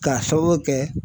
K'a sababu kɛ.